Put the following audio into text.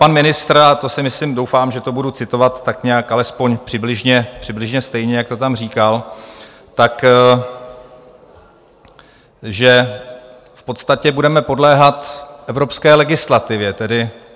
Pan ministr - a to si myslím, doufám, že to budu citovat tak nějak alespoň přibližně stejně, jak to tam říkal - řekl, že v podstatě budeme podléhat evropské legislativě.